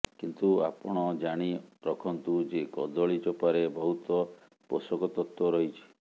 କିନ୍ତୁ ଆପଣ ଜାଣି ରଖନ୍ତୁ ଯେ କଦଳୀ ଚୋପାରେ ବହୁତ ପୋଷକ ତତ୍ତ୍ୱ ରହିଛି